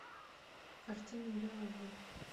картина беовульф